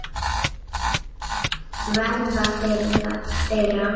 Verða þeirra.